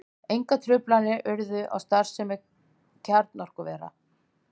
Engar truflanir urðu á starfsemi kjarnorkuvera